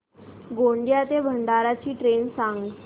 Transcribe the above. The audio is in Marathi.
गोंदिया ते भंडारा ची ट्रेन सांग